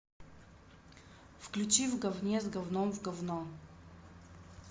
включи в говне с говном в говно